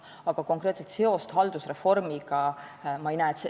Aga konkreetset seost haldusreformiga ma ei näe.